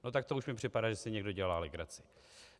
No tak to už mi připadá, že si někdo dělá legraci.